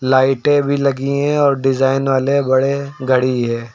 लाइटें भी लगी है और डिजाइन वाले बड़े घड़ी है।